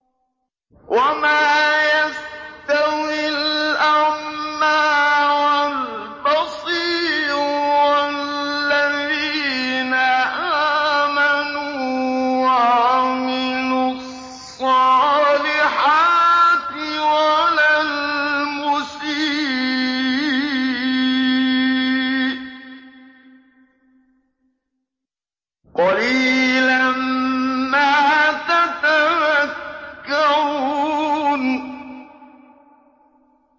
وَمَا يَسْتَوِي الْأَعْمَىٰ وَالْبَصِيرُ وَالَّذِينَ آمَنُوا وَعَمِلُوا الصَّالِحَاتِ وَلَا الْمُسِيءُ ۚ قَلِيلًا مَّا تَتَذَكَّرُونَ